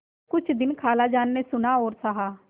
कुछ दिन खालाजान ने सुना और सहा